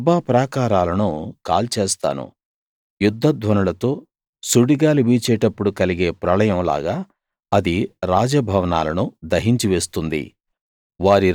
రబ్బా ప్రాకారాలను కాల్చేస్తాను యుద్ధ ధ్వనులతో సుడి గాలి వీచేటప్పుడు కలిగే ప్రళయం లాగా అది రాజ భవనాలను దహించివేస్తుంది